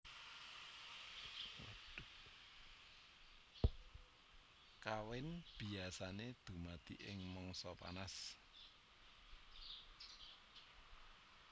Kawin biasané dumadi ing mangsa panas